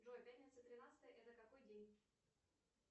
джой пятница тринадцатое это какой день